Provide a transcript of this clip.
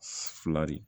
Fila de